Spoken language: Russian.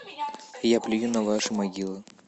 я плюю на ваши могилы